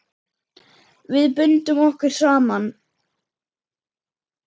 Við bundum okkur saman.